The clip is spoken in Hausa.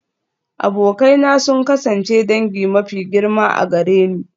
Abokai na sun kasance dangi mafi girma a gare ni.